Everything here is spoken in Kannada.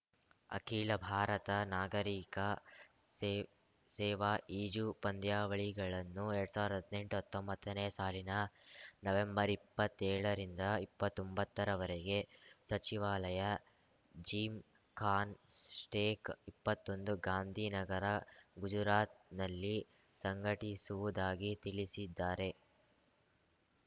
ಅಖಿಲ ಭಾರತ ನಾಗರೀಕ ಸೇ ಸೇವಾ ಈಜು ಪಂದ್ಯಾವಳಿಗಳನ್ನು ಎರಡ್ ಸಾವ್ರ್ದಾ ಹದಿನೆಂಟುಹತ್ತೊಂಬತ್ತನೇ ಸಾಲಿನ ನವೆಂಬರ್ಇಪ್ಪತ್ತೇಳರಿಂದ ಇಪ್ಪತ್ತೊಂಬತ್ತರವರೆಗೆ ಸಚಿವಾಲಯ ಜಿಮ್‌ಖಾನ್ ಸ್ಟೇಕ್ ಇಪ್ಪತ್ತೊಂದು ಗಾಂಧಿನಗರ ಗುಜರಾತ್‌ನಲ್ಲಿ ಸಂಘಟಿಸುವುದಾಗಿ ತಿಳಿಸಿದ್ದಾರೆ